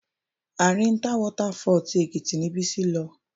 Arinta Water Fall tí Èkìtì ni Bísí lọ.